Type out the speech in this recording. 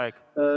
Aeg!